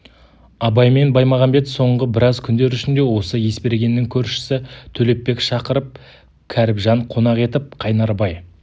абай мен баймағамбет соңғы біраз күндер ішінде осы есбергеннің көршісі төлепбек шақырып кәріпжан қонақ етіп қайнарбай